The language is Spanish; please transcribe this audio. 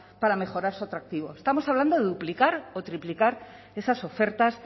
para mejorar su atractivo estamos hablando de duplicar o triplicar esas ofertas